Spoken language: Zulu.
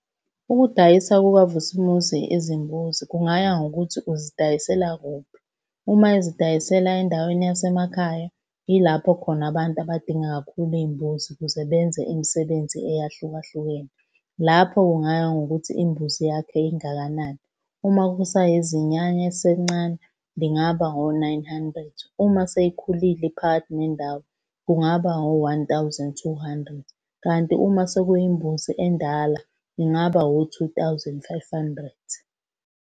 Ukudayisa kukaVusimuzi izimbuzi kungaya ngokuthi uzidayisela kuphi. Uma ezidayisela endaweni yasemakhaya, yilapho khona abantu abadinga kakhulu iy'mbuzi ukuze benze imisebenzi eyahlukahlukene. Lapho kungaya ngokuthi imbuzi yakhe ingakanani. Uma kusayizinyane eliselincane, lingaba ngo-nine hundred. Uma seyikhulile iphakathi nendawo, kungaba o-one thousand two hundred, kanti uma sekuyimbuzi endala kungaba o-two thousand five hundred.